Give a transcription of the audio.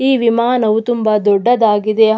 ಈ ವಿಮಾನವು ತುಂಬಾ ದೊಡ್ಡದಾಗಿದೆ ಹಾ --